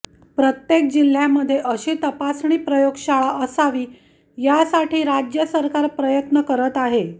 प्रत्येक जिल्ह्यामध्ये अशी तपासणी प्रयोगशाळा असावी यासाठी राज्य सरकार प्रयत्न करत आहे